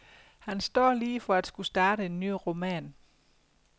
Han står lige for at skulle starte en ny roman.